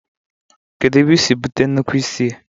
Kedu ebe isi bute nnukwu isi a?